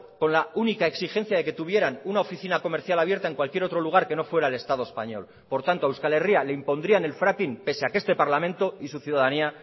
con la única exigencia de que tuvieran una oficina comercial abierta en cualquier otro lugar que no fuera el estado español por tanto a euskal herria le impondrían el fracking pese a que este parlamento y su ciudadanía